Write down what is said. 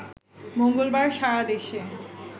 মঙ্গলবার সারা দেশে